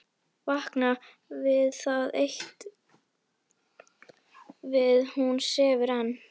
Vakna við það eitt að hún sefur enn.